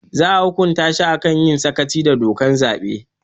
Za a hukunta shi a kan yin sakaci da dokar zaɓe